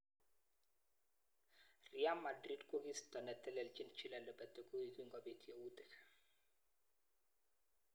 Real Madrid kokiisto neteleljin Julen Lopetegu kingobit yautik.